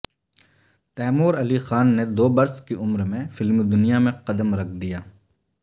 Timur Ali Khan نے دو برس کی عمر میں فلمی دنیا میں قدم رکھ دیا